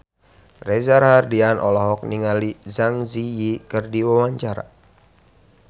Reza Rahardian olohok ningali Zang Zi Yi keur diwawancara